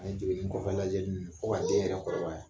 An ye degeli kɔfɛ lajɛli ninnu fo ka den yɛrɛ kɔrɔbaya.